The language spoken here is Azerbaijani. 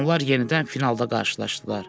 Onlar yenidən finalda qarşılaşdılar.